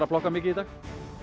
að plokka mikið í dag